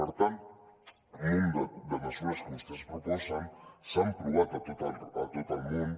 per tant un munt de mesures que vostès proposen s’han provat a tot el món